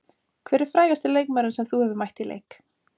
Hver er frægasti leikmaðurinn sem þú hefur mætt í leik?